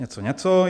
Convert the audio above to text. Něco, něco...